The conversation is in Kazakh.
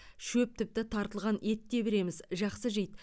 шөп тіпті тартылған ет те береміз жақсы жейді